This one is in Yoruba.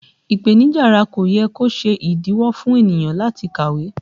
Ipenija ara kò yẹ kó ṣe ìdíwọ́ fún ènìyàn láti kàwé